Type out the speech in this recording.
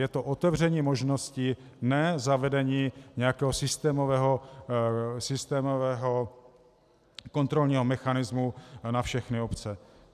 Je to otevření možnosti, ne zavedení nějakého systémového kontrolního mechanismu na všechny obce.